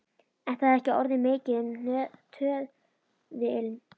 En það er ekki orðið mikið um töðuilm.